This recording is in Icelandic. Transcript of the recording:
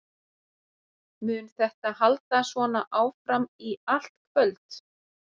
Mun þetta halda svona áfram í allt kvöld?